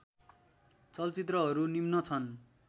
चलचित्रहरू निम्न छन्